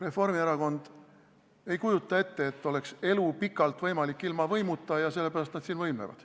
Reformierakond ei kujuta ette, et elu oleks pikalt võimalik ilma võimuta, ja sellepärast nad siin võimlevad.